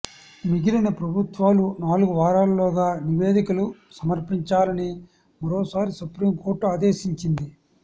మిగిలిన ప్రభుత్వాలు నాలుగు వారాల్లోగా నివేదికలు సమర్పించాలని మరోసారి సుప్రీంకోర్టు ఆదేశించింది